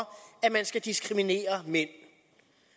at mænd skal diskrimineres det